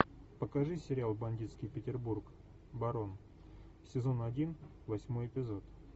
покажи сериал бандитский петербург барон сезон один восьмой эпизод